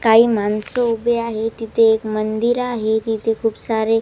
काही माणसं उभी आहे तिथे एक मंदिर आहे तिथे खूप सारे --